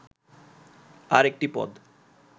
"আর একটি পদ